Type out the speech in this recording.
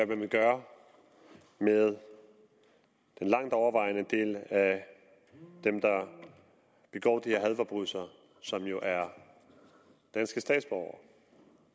man vil gøre med den langt overvejende del af dem der begår de her hadforbrydelser som jo er danske statsborgere og